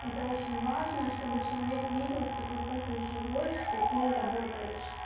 это очень важно чтобы человек видел что твой профиль живой что ты работаешь